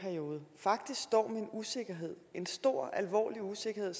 usikkerhed en stor alvorlig usikkerhed og